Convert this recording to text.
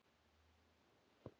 Við förum rólega í þetta.